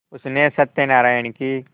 उसने सत्यनाराण की